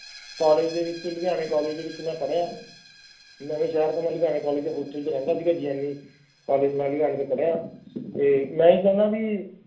college ਦੇ ਵਿਚ Ludhiana college ਦੇ ਵਿਚ ਮੈਂ ਪੜ੍ਹਿਆ ਨਵਾਂ ਸ਼ਹਿਰ ਤੋਂ ਮੈਂ ਲੁਧਿਆਣਾ ਕਾਲੇਜ ਚੇ ਮੈ ਹੋਸਟਲ ਵਿਚ ਰਹਿੰਦਾ ਸੀਗਾ ਕਾਲਜ ਲੁਧਿਆਣਾ ਤੋਂ ਪੜ੍ਹਿਆ